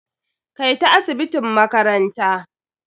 Kai ta asibitin makaranta.